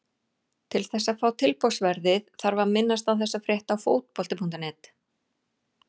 Til þess að fá tilboðsverðið þarf að minnast á þessa frétt á Fótbolti.net.